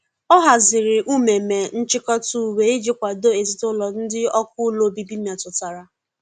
ọ hazịrị umeme nchikota uwe iji kwado ezinulo ndi ọkụ ụlọ ọbibi metụtara.